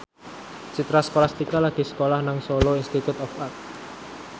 Citra Scholastika lagi sekolah nang Solo Institute of Art